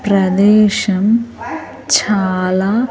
ప్రదేశం చాలా.